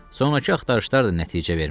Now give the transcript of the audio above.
Sonrakı axtarışlar da nəticə vermədi.